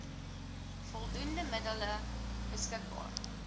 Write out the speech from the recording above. voldoende middele beskik